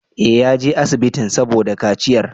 Eh, yaje asibitin saboda kaciyar